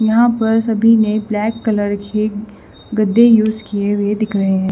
यहां पर सभी ने ब्लैक कलर खे गद्दे यूज किए हुए दिख रहे हैं।